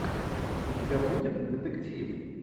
у тебя будет детектив